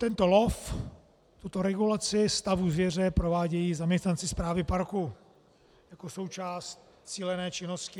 Tento lov, tuto regulaci stavu zvěře, provádějí zaměstnanci správy parku jako součást cílené činnosti.